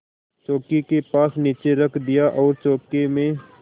चौकी के पास नीचे रख दिया और चौके में